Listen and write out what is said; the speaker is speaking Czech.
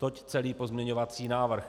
Toť celý pozměňovací návrh.